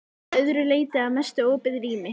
Hæðin að öðru leyti að mestu opið rými.